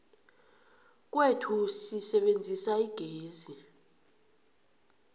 kwethu sisebenzisa igezi